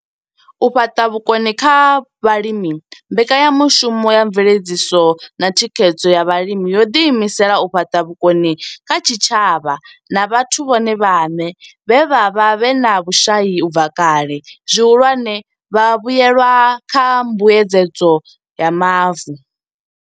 U fhaṱa vhukoni kha vhalimi mbekanyamushumo ya mveledziso na thikhedzo ya vhalimi yo ḓi imisela u fhaṱa vhukoni kha zwitshavha na vhathu vhone vhaṋe vhe vha vha vhe na vhushai u bva kale, zwihulwane, vhavhuelwa kha mbuedzedzo ya mavu.